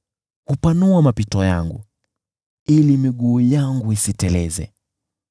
Huyapanua mapito yangu, ili miguu yangu isiteleze.